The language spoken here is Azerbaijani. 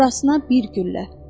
Burasına bir güllə.